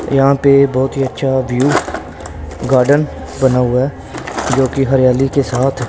यहां पे बहुत ही अच्छा व्यू गार्डन बना हुआ है जो की हरियाली के साथ--